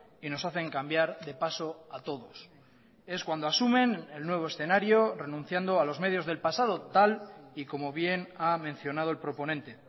y nos hacen cambiar de paso a todos es cuando asumen el nuevo escenario renunciando a los medios del pasado tal y como bien ha mencionado el proponente